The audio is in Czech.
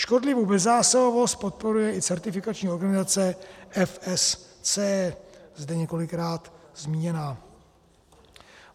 Škodlivou bezzásahovost podporuje i certifikační organizace FSC, zde několikrát zmíněná.